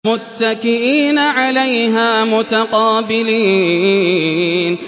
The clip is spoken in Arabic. مُّتَّكِئِينَ عَلَيْهَا مُتَقَابِلِينَ